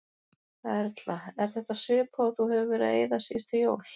Erla: Er þetta svipað og þú hefur verið að eyða síðustu jól?